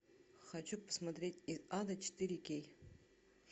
хочу посмотреть из ада четыре кей